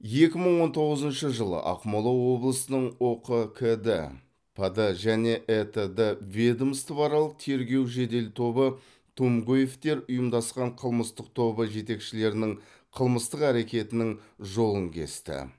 екі мың он тоғызыншы жылы ақмола облысының ұқкд пд және этд ведомствоаралық тергеу жедел тобы тумгоевтер ұйымдасқан қылмыстық тобы жетекшілерінің қылмыстық әрекетінің жолын кесті